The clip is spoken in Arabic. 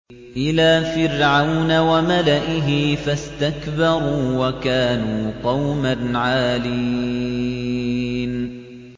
إِلَىٰ فِرْعَوْنَ وَمَلَئِهِ فَاسْتَكْبَرُوا وَكَانُوا قَوْمًا عَالِينَ